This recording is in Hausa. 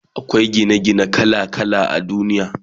Akwai Gina gine kala kala a duniya